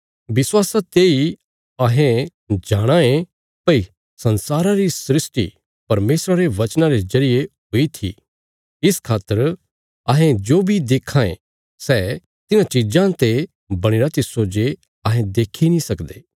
विश्वासा तेई अहें जाणाँ यें भई संसारा री सृष्टि परमेशरा रे वचनां रे जरिये हुई थी इस खातर अहें जो बी देक्खां ये सै तिन्हां चीजां ते बणीरा तिस्सो जे अहें देक्खी नीं सकदे